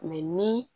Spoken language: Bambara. ni